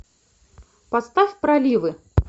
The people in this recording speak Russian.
поставь проливы